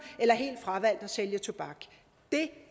eller helt fravalgt at sælge tobak det